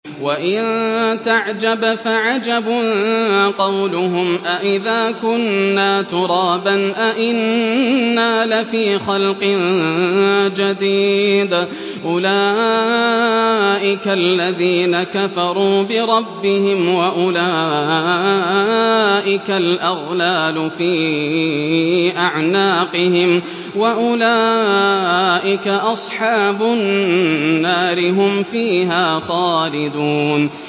۞ وَإِن تَعْجَبْ فَعَجَبٌ قَوْلُهُمْ أَإِذَا كُنَّا تُرَابًا أَإِنَّا لَفِي خَلْقٍ جَدِيدٍ ۗ أُولَٰئِكَ الَّذِينَ كَفَرُوا بِرَبِّهِمْ ۖ وَأُولَٰئِكَ الْأَغْلَالُ فِي أَعْنَاقِهِمْ ۖ وَأُولَٰئِكَ أَصْحَابُ النَّارِ ۖ هُمْ فِيهَا خَالِدُونَ